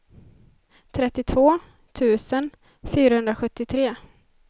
trettiotvå tusen fyrahundrasjuttiotre